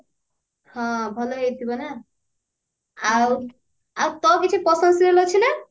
ହଁ ଭଲ ହେଇଥିବ ନା ଆଉ ଆଉ ତୋର କିଛି ପସନ୍ଦ serial ଅଛି ନା